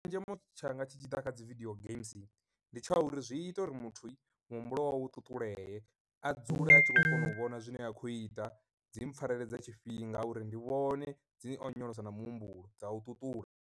Tshenzhemo tshanga tshi tshi ḓa kha dzi vidio games ndi tsha uri zwi ita uri muthu muhumbulo wawe u ṱuṱulee a dzule a tshi kona u vhona zwine a khou ita, dzi mpfareledza tshifhinga uri ndi vhone dzi onyolosa na muhumbulo dza u ṱuṱula.